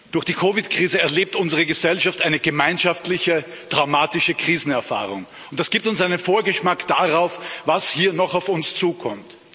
Durch die COVID 19 Krise erlebt unsere Gesellschaft eine gemeinschaftliche dramatische Krisenerfahrung. Das gibt uns einen Vorgeschmack darauf, was hier noch auf uns zukommt.